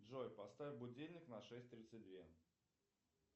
джой поставь будильник на шесть тридцать две